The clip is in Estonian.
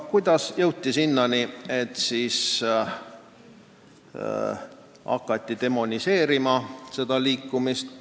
Kuidas aga jõuti sinnani, et hakati seda liikumist demoniseerima?